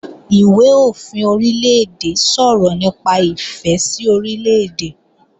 Ìwé-òfin Orílè-èdè sọ̀rọ̀ nípa ìfẹ́ sí Orílè-èdè